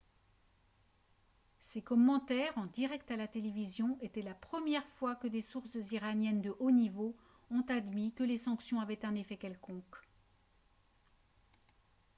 ces commentaires en direct à la télévision étaient la première fois que des sources iraniennes de haut niveau ont admis que les sanctions avaient un effet quelconque